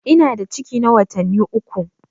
Ina da ciki na watanni uku.